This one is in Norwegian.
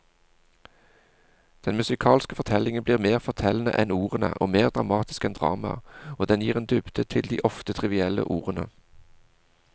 Den musikalske fortellingen blir mer fortellende enn ordene og mer dramatisk enn dramaet, og den gir en dybde til de ofte trivielle ordene.